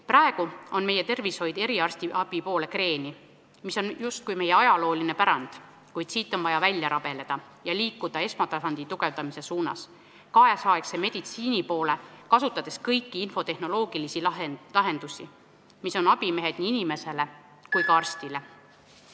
Praegu on meie tervishoid eriarstiabi poole kreenis, see on justkui meie ajalooline pärand, kuid siit on vaja välja rabeleda ja liikuda esmatasandi tugevdamise suunas, nüüdisaegse meditsiini poole, kasutades kõiki infotehnoloogilisi lahendusi, mis on abimehed nii inimesele kui ka arstile.